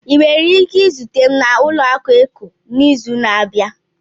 Ị nwere ike izute m na ụlọaku Eco n'izu na-abịa?